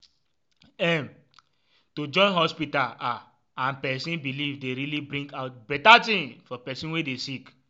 em- to join hospita ah and pesin belief dey really bring out beta tin for pesin wey dey sick